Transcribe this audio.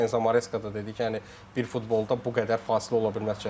Enzo Maresca da dedi ki, yəni bir futbolda bu qədər fasilə ola bilməz.